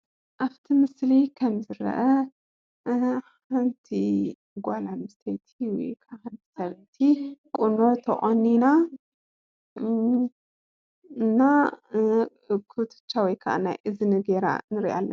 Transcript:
ኣብቲ ምስሊ ከም ዝረአ ሓንቲ ጓል ኣንሰተይቲ ወይከዓ ሰበይቲ ቁኖ ተቆኒና እና ኩትቻ ወይከዓ ናይ እዝኒ ገይራ ንርእያ ኣለና።